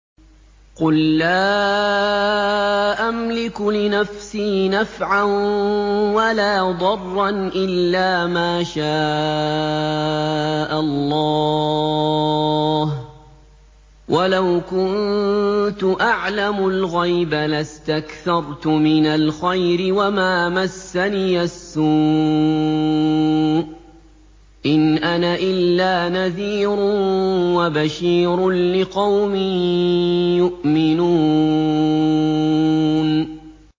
قُل لَّا أَمْلِكُ لِنَفْسِي نَفْعًا وَلَا ضَرًّا إِلَّا مَا شَاءَ اللَّهُ ۚ وَلَوْ كُنتُ أَعْلَمُ الْغَيْبَ لَاسْتَكْثَرْتُ مِنَ الْخَيْرِ وَمَا مَسَّنِيَ السُّوءُ ۚ إِنْ أَنَا إِلَّا نَذِيرٌ وَبَشِيرٌ لِّقَوْمٍ يُؤْمِنُونَ